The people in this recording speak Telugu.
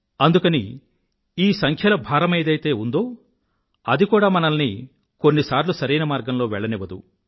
అందుకని ఈ సంఖ్యల భారమేదైతే ఉందో అది కూడా మనల్ని కొన్నిసార్లు సరైన మార్గంలో వెళ్ళనివ్వదు